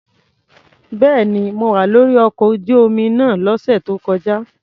Bẹ́ẹ̀ni, mo wà lórí ọkọ̀ ojú omi náà lọ́sẹ̀ tó kọjá.